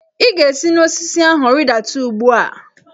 Ị ga-esi n'osisi ahụ rịdata ugbu a!